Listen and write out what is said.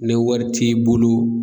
Ni wari t'i bolo.